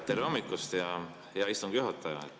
Tere hommikust, hea istungi juhataja!